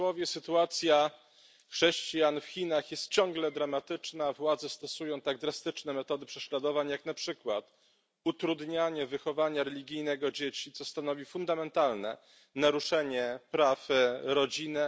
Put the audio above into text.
Sytuacja chrześcijan w Chinach jest ciągle dramatyczna, władze stosują tak drastyczne metody prześladowań jak na przykład utrudnianie wychowania religijnego dzieci, co stanowi fundamentalne naruszenie praw rodziny.